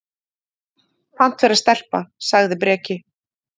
Pant vera stelpa, sagði Breki.